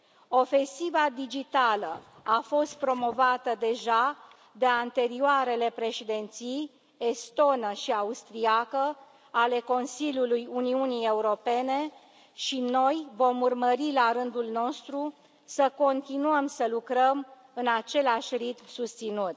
Ofensiva digitală a fost promovată deja de anterioarele Președinții, estonă și austriacă, ale Consiliului Uniunii Europene și noi vom urmări, la rândul nostru, să continuăm să lucrăm în același ritm susținut.